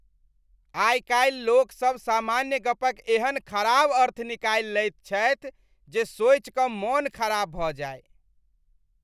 आइ कालि लोकसभ सामान्य गपक एहन खराब अर्थ निकालि लैत छथि जे सोचि कऽ मन खराब भऽ जाय।